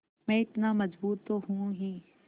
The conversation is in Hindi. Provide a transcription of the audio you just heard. मैं इतना मज़बूत तो हूँ ही